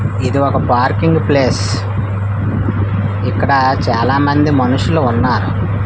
ఇది ఒక parking place ఇక్కడ చాలా మంది మనుషులు ఉన్నారు.